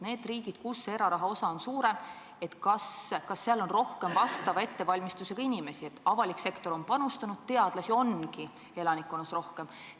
Nendes riikides, kus eraraha osa on suurem, kas seal on rohkem vastava ettevalmistusega inimesi, avalik sektor on panustanud, teadlasi ongi elanikkonnas rohkem?